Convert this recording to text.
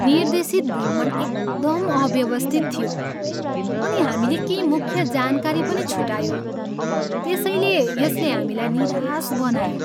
निर्देशित भ्रमण एकदम अव्यवस्थित थियो अनि हामीले केही मुख्य जानकारी पनि छुटायौँ त्यसैले यसले हामीलाई निराश बनायो।